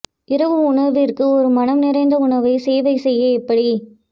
இரவு உணவிற்கு ஒரு மனம் நிறைந்த உணவை சேவை செய்ய எப்படி